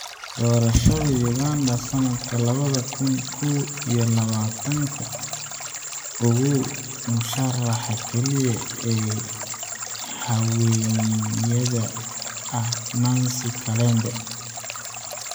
Doorashada Uganda sanadka labada kun kow iyo labatanka : Ogow musharaxa kaliya ee haweeneyda ah Nancy Kalembe